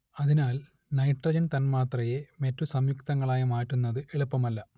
അതിനാൽ നൈട്രജൻ തന്മാത്രയെ മറ്റു സംയുക്തങ്ങളാക്കി മാറ്റുന്നത് എളുപ്പമല്ല